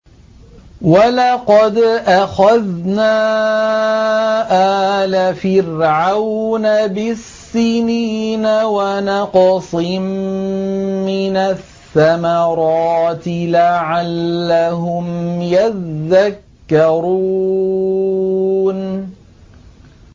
وَلَقَدْ أَخَذْنَا آلَ فِرْعَوْنَ بِالسِّنِينَ وَنَقْصٍ مِّنَ الثَّمَرَاتِ لَعَلَّهُمْ يَذَّكَّرُونَ